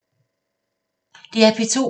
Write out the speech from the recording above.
DR P2